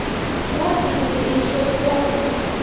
Balki bunga erishayotgandirmiz.